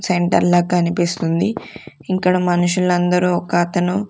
Centre లెక్కా అనిపిస్తుంది ఇక్కడ మనుషులందరూ ఒక అతను.